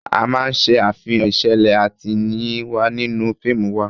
A máa ṣe àfihàn ìṣẹ̀lẹ̀ àtẹ̀yìnwá nínú fíìmù wa